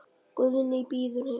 Guðný bíður heima.